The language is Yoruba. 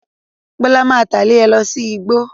Bọ́lá máa tẹ̀lé ẹ lọ sí igbó.